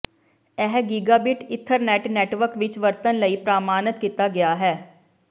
ਇਹ gigabit Ethernet network ਵਿੱਚ ਵਰਤਣ ਲਈ ਪ੍ਰਮਾਣਤ ਕੀਤਾ ਗਿਆ ਹੈ